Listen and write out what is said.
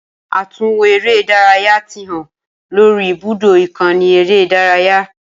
Atunwo ere idaraya ti han lori ibudo ikanni ere idaraya.